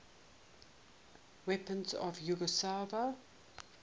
weapons of yugoslavia